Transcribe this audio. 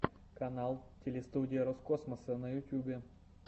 канал телестудия роскосмоса на ютубе